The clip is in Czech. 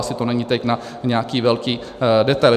Asi to není teď na nějaký velký detail.